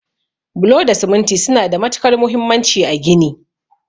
Bulo da siminti suna da matukar muhimmanci a gini.